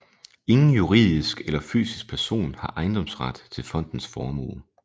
Ingen juridisk eller fysisk person har ejendomsret til fondens formue